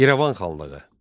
İrəvan xanlığı.